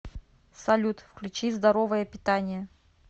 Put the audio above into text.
салют включи здоровое питание